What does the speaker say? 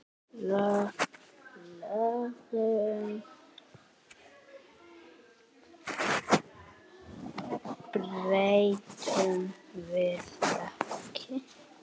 Lögunum breytum við ekki.